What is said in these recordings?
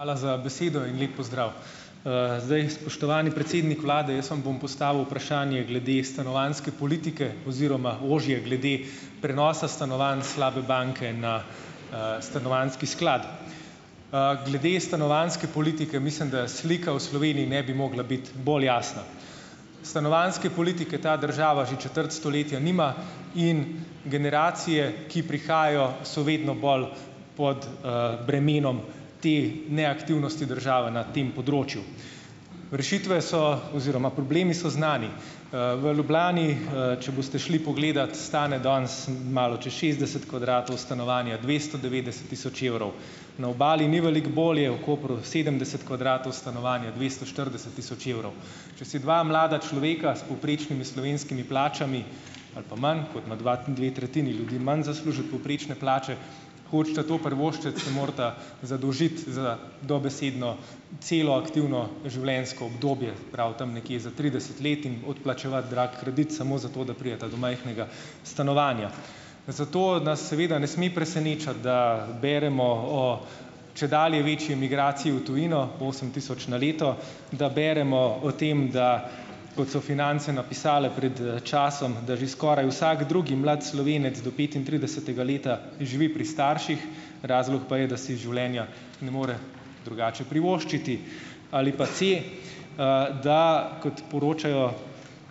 Hvala za besedo in lep pozdrav! zdaj, spoštovani predsednik vlade! Jaz vam bom postavil vprašanje glede stanovanjske politike oziroma ožje glede prenosa stanovanj slabe banke na, stanovanjski sklad. Glede stanovanjske politike, mislim, da slika v Sloveniji ne bi mogla biti bolj jasna. Stanovanjske politike ta država že četrt stoletja nima in generacije, ki prihajajo, so vedno bolj pod, bremenom te neaktivnosti države na tem področju. Rešitve so oziroma problemi so znani. V Ljubljani, če boste šli pogledat, stane danes malo čez šestdeset kvadratov stanovanja dvesto devetdeset tisoč evrov. Na Obali ni veliko bolje, v Kopru sedemdeset kvadratov stanovanja dvesto štirideset tisoč evrov. Če si dva mlada človeka s povprečnimi slovenskimi plačami ali pa manj, kot na dva, dve tretjini ljudi manj zasluži od povprečne plače, hočeta to privoščiti, se morata zadolžiti za dobesedno celo aktivno življenjsko obdobje, se pravi tam nekje za trideset let in odplačevati drag kredit samo zato, da prideta do majhnega stanovanja. Zato nas seveda ne sme presenečati, da beremo o čedalje večji migraciji v tujino, osem tisoč na leto, da beremo o tem, da, kot so Finance napisale pred, časom, da že skoraj vsak drugi mlad Slovenec do petintridesetega leta živi pri starših. Razlog pa je, da si življenja ne more drugače privoščiti. Ali pa, da, kot poročajo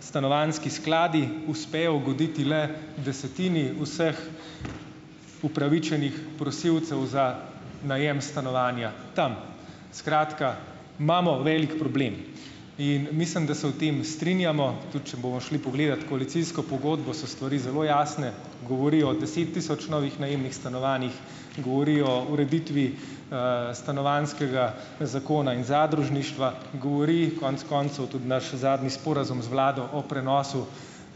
stanovanjski skladi, uspejo ugoditi le desetini vseh upravičenih prosilcev za najem stanovanja tam. Skratka, imamo velik problem. In mislim, da se o tem strinjamo, tudi če bomo šli pogledat koalicijsko pogodbo, so stvari zelo jasne, govori o deset tisoč novih najemnih stanovanjih, govori o ureditvi, stanovanjskega zakona in zadružništva, govori konec koncev tudi naš zadnji sporazum z vlado o prenosu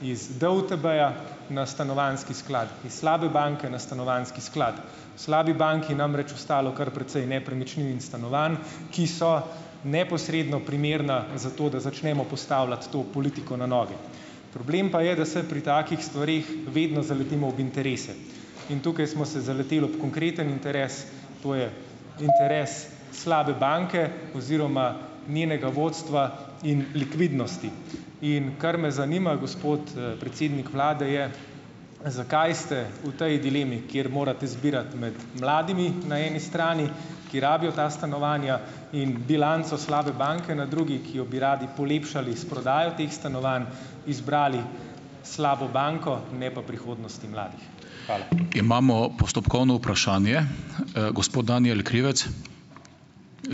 iz DUTB-ja na stanovanjski sklad, iz slabe banke na stanovanjski sklad. V slabi banki namreč ostalo kar precej nepremičnin in stanovanj, ki so neposredno primerna za to, da začnemo postavljati to politiko na noge. Problem pa je, da se pri takih stvareh vedno zaletimo ob interese. In tukaj smo se zaleteli ob konkreten interes, to je interes slabe banke oziroma njenega vodstva in likvidnosti. In kar me zanima, gospod, predsednik vlade, je: Zakaj ste v tej dilemi, kjer morate zbirati med mladimi na eni strani, ki rabijo ta stanovanja, in bilanco slabe banke na drugi, ki jo bi radi polepšali s prodajo teh stanovanj, izbrali slabo banko, ne pa prihodnosti mladih?